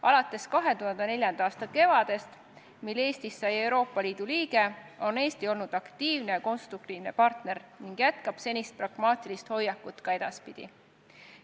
Alates 2004. aasta kevadest, mil Eestist sai Euroopa Liidu liige, on Eesti olnud aktiivne ja konstruktiivne partner ning jätkab senise pragmaatilise hoiakuga ka edaspidi.